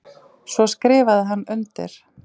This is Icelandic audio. Svo skrifaði hann undir.